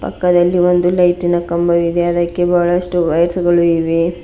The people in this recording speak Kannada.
ಪಕ್ಕದಲ್ಲಿ ಒಂದು ಲೈಟಿನ ಕಂಬವಿದೆ ಅದಕ್ಕೆ ಬಹಳಷ್ಟು ವೈರ್ಸ್ಗಳು ಇವೆ.